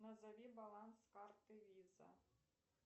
назови баланс карты виза